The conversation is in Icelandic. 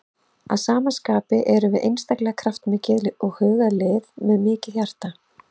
Að sama skapi erum við einstaklega kraftmikið og hugað lið með mikið hjarta.